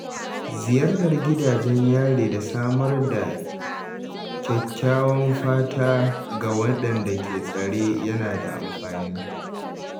Ziyartar gidajen yari da samar da kyakkyawan fata ga waɗanda ke tsare yana da amfani.